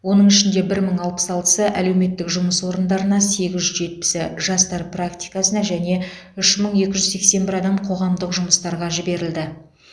оның ішінде бір мың алпыс алтысы әлеуметтік жұмыс орындарына сегіз жүз жетпісі жастар практикасына және үш мың екі жүз сексен бір адам қоғамдық жұмыстарға жіберілді